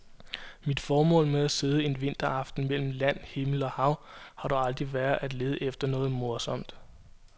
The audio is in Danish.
Mit formål med at sidde en vinteraften mellem land, himmel og hav har dog aldrig været at lede efter noget morsomt.